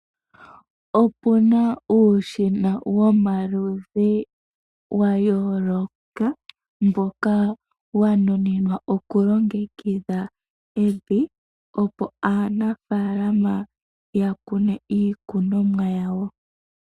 Opuna uushina womaludhi wa yooloka mboka wa nuninwa okulongekidha evi opo aanafaalama ya kune iikunomwa yawo.